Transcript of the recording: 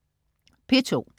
P2: